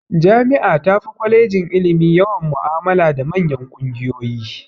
Jami'a tafi kwalejin ilimi yawan mu'amala da manyan kungiyoyi.